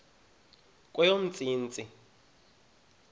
kweyomntsintsi